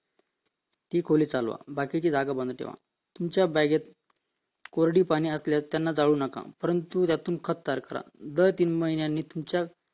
ती खोली चालवा बाकीची जागा बंद ठेवा तुमच्या बागेत कोरडी पाने असल्यास त्यांना जाळू नका, परंतु त्यातून खत तयार करा दर तीन महिन्याने तुमच्या